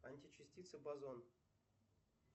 античастица базон